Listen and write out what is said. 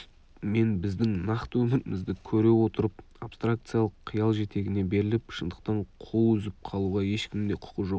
мен біздің нақты өмірімізді көре отырып абстракциялық қиял жетегіне беріліп шындықтан қол үзіп қалуға ешкімнің де құқы жоқ